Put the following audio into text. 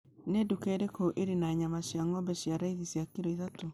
nĩ nduka ĩrĩkũ ĩrĩ na nyama cia ng'ombe cia raithi cia kilo ithatũ